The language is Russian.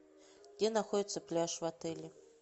где находится пляж в отеле